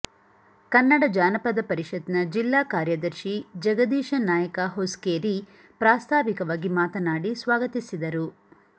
ಕನ್ನಡ ಜಾನಪದ ಪರಿಷತ್ನ ಜಿಲ್ಲಾ ಕಾರ್ಯದರ್ಶಿ ಜಗದೀಶ ನಾಯಕ ಹೊಸ್ಕೇರಿ ಪ್ರಾಸ್ತಾವಿಕವಾಗಿ ಮಾತನಾಡಿ ಸ್ವಾಗತಿಸಿದರು